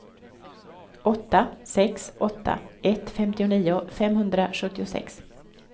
åtta sex åtta ett femtionio femhundrasjuttiosex